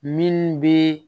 Minnu bɛ